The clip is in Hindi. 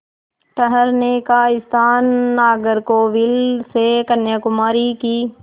ठहरने का स्थान नागरकोविल से कन्याकुमारी की